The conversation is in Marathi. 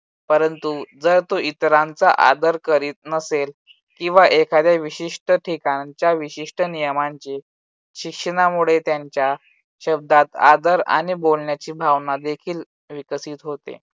परंतु जर तो इतरांचा आदर करीत नसेल किंवा एखाद्या विशिष्ट ठिकाणच्या विशिष्ट नियमांचे शिक्षणामुळे त्यांच्या शब्दात आदर आणि बोलण्याची भावना देखील विकसित होते.